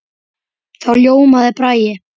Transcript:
Þá ljómaði Bragi.